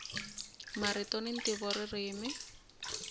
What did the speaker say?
marito na ntivo ririmi